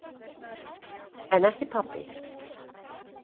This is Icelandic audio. En ekki pabbi.